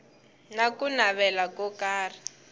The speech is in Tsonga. na ku navela ko karhi